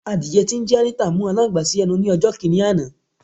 Àdiẹ tí ńjé Anita mú alańgbà si ẹnu ni ọjò̩ kini àná